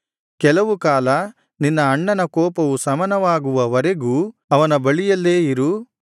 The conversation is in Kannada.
ಕೆಲವು ಕಾಲ ನಿನ್ನ ಅಣ್ಣನ ಕೋಪವು ಶಮನವಾಗುವ ವರೆಗೂ ಅವನ ಬಳಿಯಲ್ಲೇ ಇರು